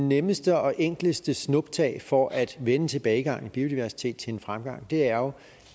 nemmeste og enkleste snuptag for at vende tilbagegangen i biodiversitet til en fremgang er